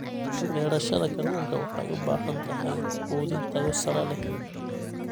Beerashada kalluunka waxay u baahan tahay quudin tayo sare leh.